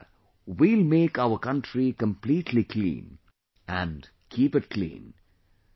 Together, we will make our country completely clean and keep it clean